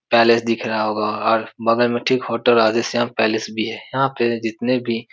Palace दिख रहा होगा और बगल में ठीक होटल राधेश्याम पैलेस भी है। यहाँ पे जितने भी --